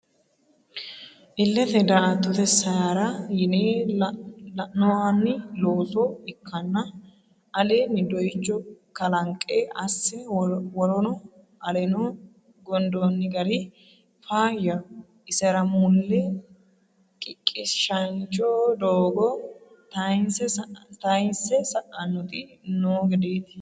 Ilete daa"attote seyara yine loonaoni looso ikkanna aleni dooyicho kalanqe assine worono aleno gondonni gari faayyaho isera mulle qiqishancho doogo tayinse sa'nanniti no gedeti.